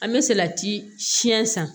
An bɛ salati siyɛn san